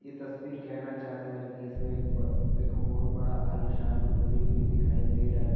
ये तस्वीर कहना चाहता है की इसमें एक ब एक बहुत बड़ा आलीशान मंदिर भी दिखाई दे रहा है।